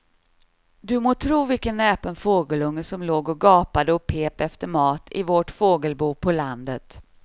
Du må tro vilken näpen fågelunge som låg och gapade och pep efter mat i vårt fågelbo på landet.